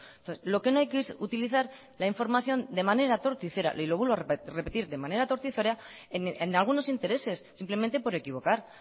entonces lo que no hay que es utilizar la información de manera torticera y lo vuelvo a repetir de manera torticera en algunos intereses simplemente por equivocar